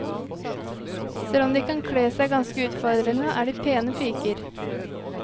Selv om de kan kle seg ganske utfordrende, er de pene piker.